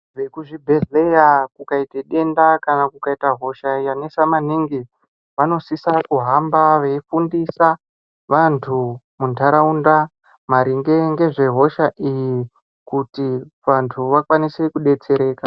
Vekuzvibhedhleya kukayite denda kana kukayita hosha yanetsa maningi, vanosisa kuhamba veyifundisa vantu mundarawunda maringe ngezve hosha iyi, kuti vantu vakwanise kudetsereka